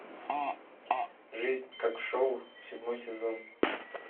жизнь как шоу седьмой сезон